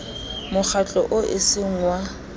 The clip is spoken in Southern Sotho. mokgatlo oo e seng wa